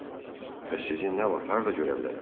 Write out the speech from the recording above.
Bəs sizi nə vaxt harda görə bilərəm?